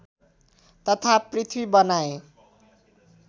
तथा पृथ्वी बनाए